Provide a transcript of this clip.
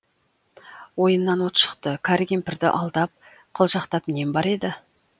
ойыннан от шықты кәрі кемпірді алдап қылжақтап нем бар еді